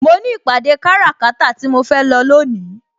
Mo ní ìpàdé kára kata tí mo fẹ́ lọ lónìí.